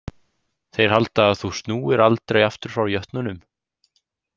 Þeir halda að þú snúir aldrei aftur frá jötnunum.